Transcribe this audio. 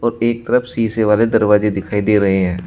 और एक तरफ सीसे वाले दरवाजे दिखाई दे रहे हैं।